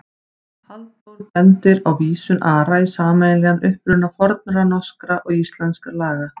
Halldór bendir á vísun Ara í sameiginlegan uppruna fornra norskra og íslenskra laga.